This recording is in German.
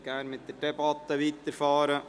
Wir möchten die Debatte fortsetzen.